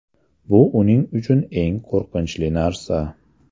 Bu uning uchun eng qo‘rqinchli narsa.